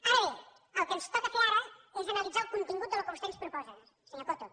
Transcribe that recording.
ara bé el que ens toca fer ara és analitzar el contingut del que vostè ens proposa senyor coto